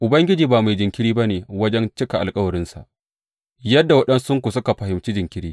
Ubangiji ba mai jinkiri ba ne wajen cika alkawarinsa, yadda waɗansunku suka fahimci jinkiri.